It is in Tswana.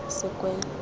sekwele